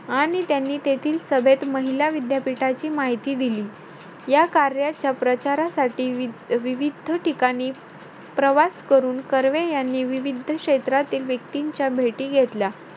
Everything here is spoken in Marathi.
आणि त्यांनी तेथील सभेत महिला विद्यापीठाची माहिती दिली. या कार्याच्या प्रचारासाठी, वि~ विविध्द ठिकाणी, प्रवास करून, कर्वे यांनी विविध्द क्षेत्रातील व्यक्तींच्या भेटी घेतल्या.